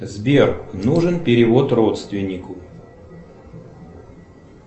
сбер нужен перевод родственнику